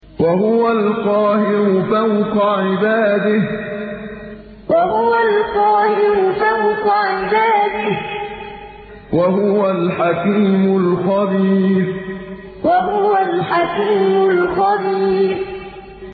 وَهُوَ الْقَاهِرُ فَوْقَ عِبَادِهِ ۚ وَهُوَ الْحَكِيمُ الْخَبِيرُ وَهُوَ الْقَاهِرُ فَوْقَ عِبَادِهِ ۚ وَهُوَ الْحَكِيمُ الْخَبِيرُ